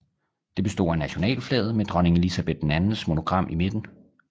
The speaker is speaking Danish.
Det bestod af nationalflaget med dronning Elizabeth IIs monogram i midten